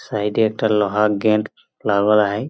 Side -এ একটা লোহার গেট লাগরাহাহ।